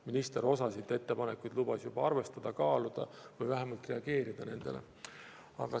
Minister juba lubas osa ettepanekuid arvestada, osa aga kaaluda ja vähemalt nendele reageerida.